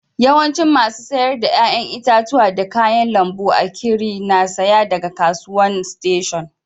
Yawancin masu sayar da yayan itatuwa da kayan lambu a'kiri na saya daga kasuwan station.